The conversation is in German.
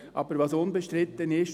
Aber was unbestritten ist: